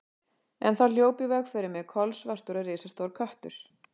En þá hljóp í veg fyrir mig kolsvartur og risastór köttur.